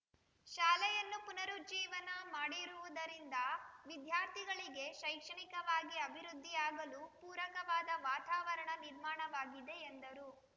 ಶಾಲೆಯನ್ನು ಪುನರುಜ್ಜೀವನ ಮಾಡಿರುವುದರಿಂದ ವಿದ್ಯಾರ್ಥಿಗಳಿಗೆ ಶೈಕ್ಷಣಿಕವಾಗಿ ಅಭಿವೃದ್ಧಿಯಾಗಲು ಪೂರಕವಾದ ವಾತಾವರಣ ನಿರ್ಮಾಣವಾಗಿದೆ ಎಂದರು